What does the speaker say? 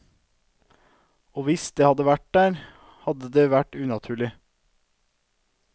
Og hvis det hadde vært der, hadde det vært unaturlig.